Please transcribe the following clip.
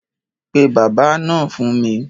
Pe bábà náà fún mi.